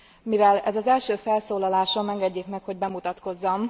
Mivel ez az első felszólalásom, engedjék meg, hogy bemutatkozzam.